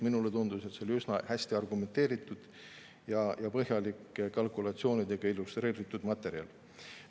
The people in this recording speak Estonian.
Minule tundus, et see oli üsna hästi argumenteeritud ja põhjalike kalkulatsioonidega illustreeritud materjal.